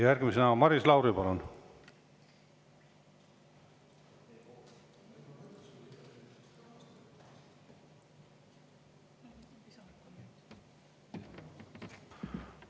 Järgmisena Maris Lauri, palun!